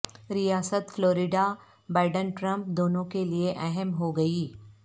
ریاست Florida Biden Trump دونوں کے لیے اہم ہو گئی